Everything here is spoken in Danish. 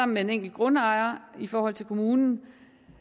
med en enkelt grundejer i forhold til kommunen